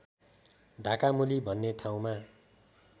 ढाकामुली भन्ने ठाउँमा